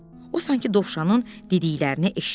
O sanki dovşanın dediklərini eşitmədi.